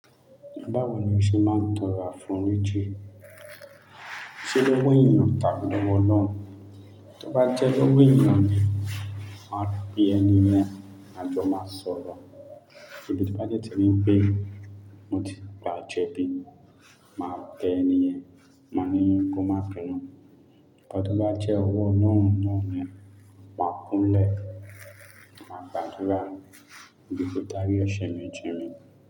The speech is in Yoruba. Báwo ni o ṣe máa ń tọrọ àforíjì? Sé lówó èyàn tàbí lọ́wọ́ ọlọ́run? Tí o bá jẹ́ lọ́wọ́ èyàn ni, máa pe ẹni yẹn a jọ ma sọ̀rọ̀. Tí o bá dẹ̀ jẹ́ wípé, mo ti gbà jẹ̀bi, máa bẹ ẹni yẹn, máa ní kó máa binu. Nkan tí ó bá jẹ́ owó ọlọ́run náà ni, máa kúnlẹ̀, máa gbàdúrà, wípé kó dárí ẹ̀sẹ̀ mi jì milí.